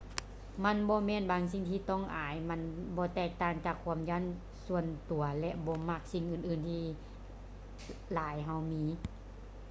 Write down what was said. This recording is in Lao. ມັນບໍ່ແມ່ນບາງສິ່ງທີ່ຕ້ອງອາຍ ມັນບໍ່ແຕກຕ່າງຈາກຄວາມຢ້ານສ່ວນຕົວ ແລະ ບໍ່ມັກສິ່ງອື່ນໆທີ່ຫຼາຍເຮົາມີ